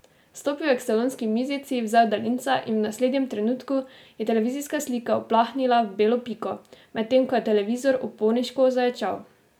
Stopil je k salonski mizici, vzel daljinca in v naslednjem trenutku je televizijska slika uplahnila v belo piko, medtem ko je televizor uporniško zaječal.